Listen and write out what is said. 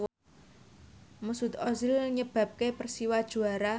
Mesut Ozil nyebabke Persiwa juara